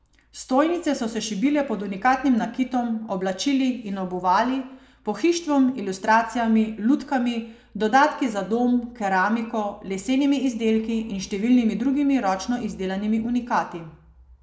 Stojnice so se šibile pod unikatnim nakitom, oblačili in obuvali, pohištvom, ilustracijami, lutkami, dodatki za dom, keramiko, lesenimi izdelki in številnimi drugimi ročno izdelanimi unikati.